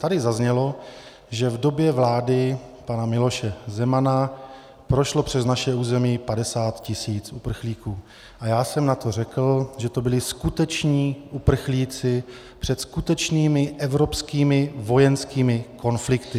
Tady zaznělo, že v době vlády pana Miloše Zemana prošlo přes naše území 50 tisíc uprchlíků, a já jsem na to řekl, že to byli skuteční uprchlíci před skutečnými evropskými vojenskými konflikty.